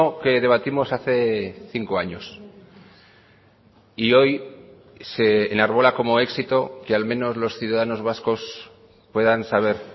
que debatimos hace cinco años y hoy se enarbola como éxito que al menos los ciudadanos vascos puedan saber